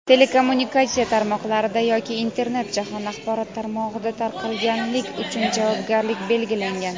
telekommunikatsiya tarmoqlarida yoki Internet jahon axborot tarmog‘ida tarqatganlik uchun javobgarlik belgilangan.